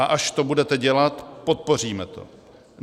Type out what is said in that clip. A až to budete dělat, podpoříme to.